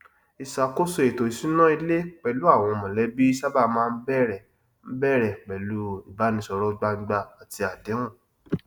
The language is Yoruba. ìṣàkóso ètò ìsúná ilé pẹlú àwọn mọlẹbí sábà máa ń bẹrẹ ń bẹrẹ pẹlú ìbánisọrọ gbangba àti àdéhùn